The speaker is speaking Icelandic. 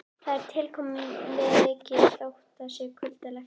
Eftir það koma Hjálmar og Malla ekki framar.